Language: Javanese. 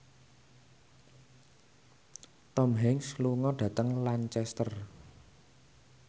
Tom Hanks lunga dhateng Lancaster